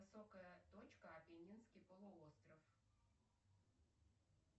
высокая точка апеннинский полуостров